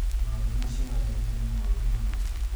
maũndũ macĩo ũrarĩrĩria nĩ moru mũno